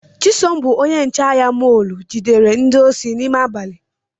Chisom bụ onye nche ahịa mọlu jidere ndị osi n’ime abali